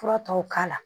Fura tɔw k'a la